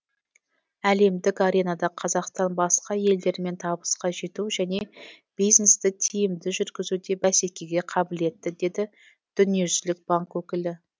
әлемдік аренада қазақстан басқа елдермен табысқа жету және бизнесті тиімді жүргізуде бәсекеге қабілетті деді дүниежүзілік банк өкілі